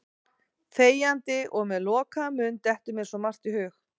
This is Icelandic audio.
Þegjandi og með lokaðan munn dettur mér svo margt í hug.